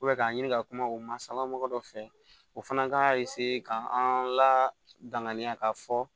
k'a ɲini ka kuma o mansa mɔgɔ dɔ fɛ o fana k'a k'an ladama k'a fɔ